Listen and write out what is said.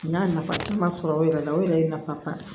N'a nafa ma sɔrɔ o yɛrɛ la o yɛrɛ ye nafa ba ye